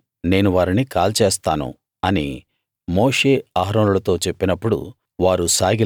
తక్షణమే నేను వారిని కాల్చేస్తాను అని మోషే అహరోనులతో చెప్పినప్పుడు